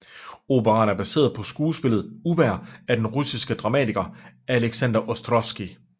Operaen er baseret på skuespillet Uvejr af den russiske dramatiker Alexander Ostrovskij